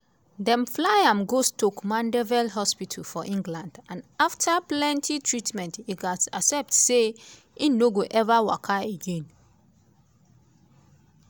dem fly am go stoke mandeville hospital for england and afta plenty treatment e gatz accept say e no go ever waka again.